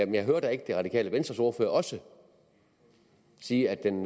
jeg hører da ikke det radikale venstres ordfører også sige at den